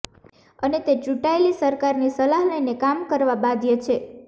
અને તે ચૂંટાયેલી સરકારની સલાહ લઈને કામ કરવા બાધ્ય છે